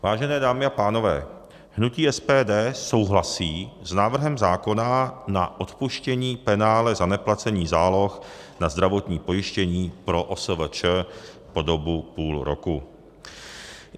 Vážené dámy a pánové, hnutí SPD souhlasí s návrhem zákona na odpuštění penále za neplacení záloh na zdravotní pojištění pro OSVČ po dobu půl roku.